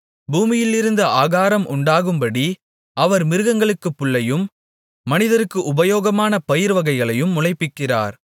பூமியிலிருந்து ஆகாரம் உண்டாகும்படி அவர் மிருகங்களுக்குப் புல்லையும் மனிதருக்கு உபயோகமான பயிர்வகைகளையும் முளைப்பிக்கிறார்